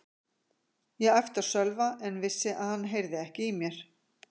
Ég æpti á Sölva en vissi að hann heyrði ekki í mér.